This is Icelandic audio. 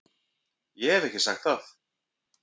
Ég hef ekki sagt það!